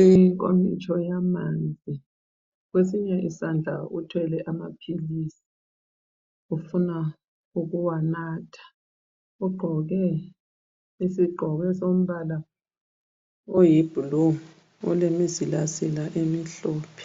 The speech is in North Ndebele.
inkomitsho yamanzi kwesinye isandla uthwele amaphilisi ufuna ukuwanatha ugqoke isigqoko esombala oyiblue olemizilazila emihlophe.